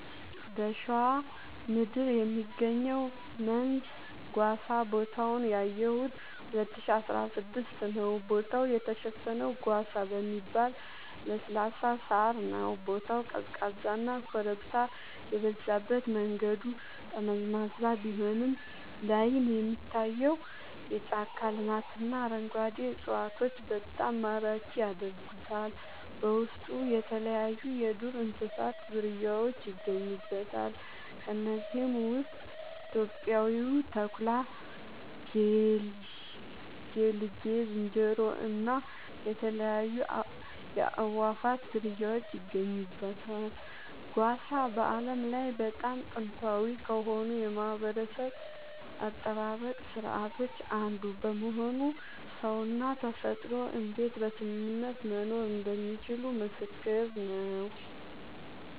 በሸዋ ምድር የሚገኘው መንዝ ጓሳ ቦታውን ያየሁት 2016 ነዉ ቦታው የተሸፈነው ጓሳ በሚባል ለስላሳ ሳር ነዉ ቦታው ቀዝቃዛና ኮረብታ የበዛበት መንገዱ ጠመዝማዛ ቢሆንም ላይን የሚታየው የጫካ ልማትና አረንጓዴ እፅዋቶች በጣም ማራኪ ያደርጉታል በውስጡ የተለያይዩ የዱር እንስሳት ዝርያውች ይገኙበታል ከነዚህም ውስጥ ኢትዮጵያዊው ተኩላ ጌልጌ ዝንጀሮ እና የተለያዩ የአእዋፋት ዝርያወች ይገኙበታል። ጓሳ በዓለም ላይ በጣም ጥንታዊ ከሆኑ የማህበረሰብ አጠባበቅ ስርዓቶች አንዱ በመሆኑ ሰውና ተፈጥሮ እንዴት በስምምነት መኖር እንደሚችሉ ምስክር ነዉ